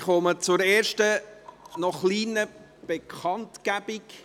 Ich komme zur ersten, kleinen Bekanntgabe: